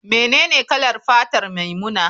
Menene kalar fatar maimuna?